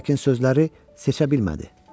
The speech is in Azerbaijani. Lakin sözləri seçə bilmədi.